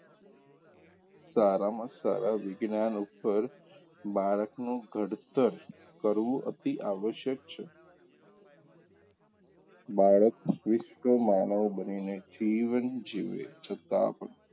સારામાં સારા વિજ્ઞાન ઉપર બાળકનું ઘડતર કરવું અતિ આવશ્યક છે બાળક વિષ્ક માનવ બનીને જીવન જીવે છતાં પણ,